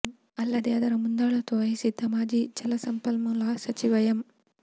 ಅಲ್ಲದೆ ಅದರ ಮುಂದಾಳತ್ವ ವಹಿಸಿದ್ದ ಮಾಜಿ ಜಲ ಸಂಪನ್ಮೂಲ ಸಚಿವ ಎಂ